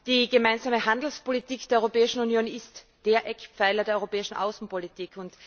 Die gemeinsame Handelspolitik der Europäischen Union ist der Eckpfeiler der europäischen Außenpolitik.